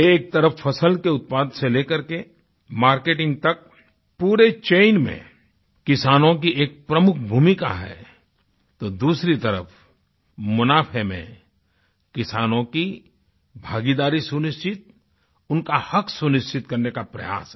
एक तरफ फसल के उत्पाद से लेकर के मार्केटिंग तक पूरी चैन में किसानों की एक प्रमुख भूमिका है तो दूसरी तरफ मुनाफ़े में किसानों की भागीदारी सुनिश्चित उनका हक़ सुनिश्चित करने का प्रयास है